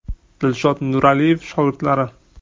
Dilshod Nuraliyev shogirdlari.